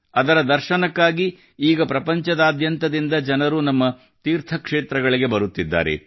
ಅದರ ದರ್ಶನಕ್ಕಾಗಿ ಈಗ ಪ್ರಪಂಚದಾದ್ಯಂತದಿಂದ ಜನರು ನಮ್ಮ ತೀರ್ಥಕ್ಷೇತ್ರಗಳಿಗೆ ಬರುತ್ತಿದ್ದಾರೆ